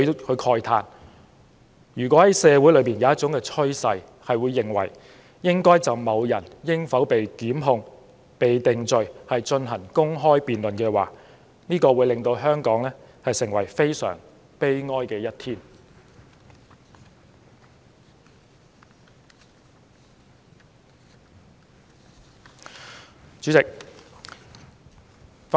他慨嘆若社會有一種趨勢認為應就某人應否被檢控和定罪進行公開辯論，這會是香港非常悲哀的一天。